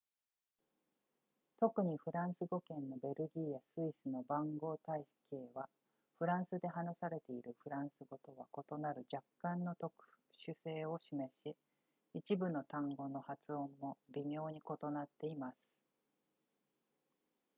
特にフランス語圏のベルギーやスイスの番号体系はフランスで話されているフランス語とは異なる若干の特殊性を示し一部の単語の発音も微妙に異なっています